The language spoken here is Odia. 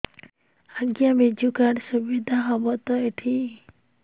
ଆଜ୍ଞା ବିଜୁ କାର୍ଡ ସୁବିଧା ହବ ତ ଏଠି